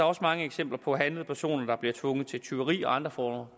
også mange eksempler på handlede personer der bliver tvunget til tyveri og andre former